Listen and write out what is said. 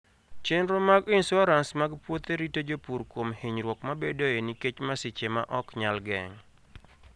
Chenro mag insuarans mag puothe rito jopur kuom hinyruok mabedoe nikech masiche ma ok nyal geng'.